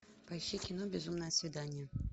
поищи кино безумное свидание